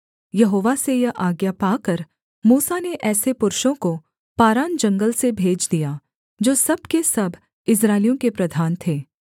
यहोवा से यह आज्ञा पाकर मूसा ने ऐसे पुरुषों को पारान जंगल से भेज दिया जो सब के सब इस्राएलियों के प्रधान थे